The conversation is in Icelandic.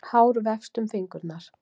Hár vefst um fingurna.